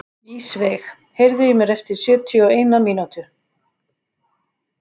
Ísveig, heyrðu í mér eftir sjötíu og eina mínútur.